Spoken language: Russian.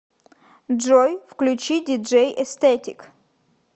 джой включи диджей эстетик